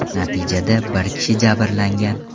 Natijada bir kishi jabrlangan.